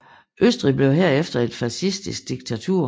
Østrig blev herefter et fascistisk diktatur